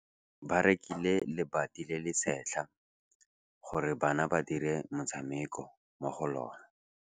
Ba rekile lebati le le setlha gore bana ba dire motshameko mo go lona.